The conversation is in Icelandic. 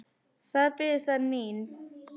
Þar biðu þær mín.